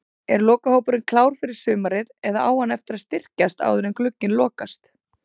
Er lokahópurinn klár fyrir sumarið eða á hann eftir að styrkjast áður en glugginn lokast?